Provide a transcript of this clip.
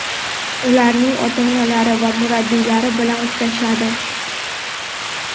ularning ota-onalari va murabbiylari bilan uchrashadi.